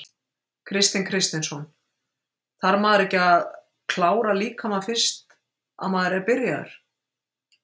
Kristinn Kristinsson: Þarf maður ekki að klára líkamann fyrst að maður er byrjaður?